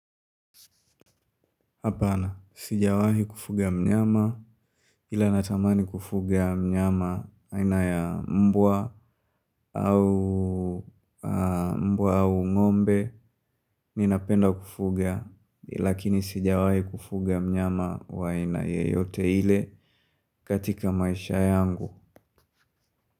Hapana, sijawahi kufuga mnyama, ila natamani kufuga mnyama waina ya mbwa au ngombe, ninapenda kufuga, lakini sijawahi kufuga mnyama waina yeyote ile katika maisha yangu.